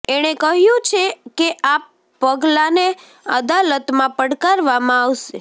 એણે કહ્યું છે કે આ પગલાને અદાલતમાં પડકારવામાં આવશે